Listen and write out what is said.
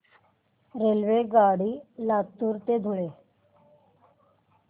रेल्वेगाडी लातूर ते धुळे